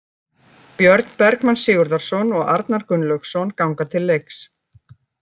Björn Bergmann Sigurðarson og Arnar Gunnlaugsson ganga til leiks